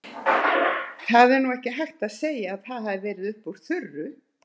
Það er nú ekki hægt að segja að það hafi verið upp úr þurru.